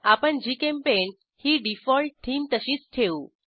आपणGChemPaint ही default theme तशीच ठेवू